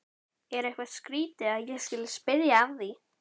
Er eitthvað skrýtið að ég skuli spyrja að því?